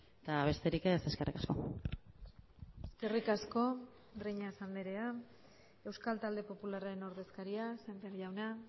eta besterik ez eskerrik asko eskerrik asko breñas andrea euskal talde popularraren ordezkaria sémper jauna